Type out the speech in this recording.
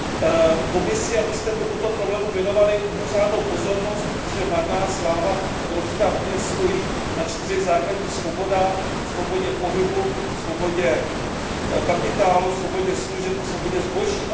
lidové strany Komisi, abyste tomuto problému věnovali mimořádnou pozornost, protože marná sláva, Evropská unie stojí na čtyřech základních svobodách, svobodě pohybu, svobodě kapitálu, svobodě služeb a svobodě zboží.